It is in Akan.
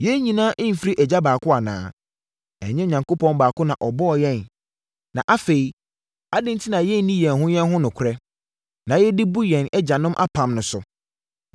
Yɛn nyinaa mfiri Agya baako anaa? Ɛnyɛ Onyankopɔn baako na ɔbɔɔ yɛn? Na, afei, adɛn enti na yɛnni yɛn ho yɛn ho nokorɛ, na yɛde bu yɛn agyanom apam no so?